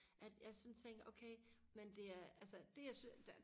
at jeg sådan tænker okay men det er altså det jeg synes der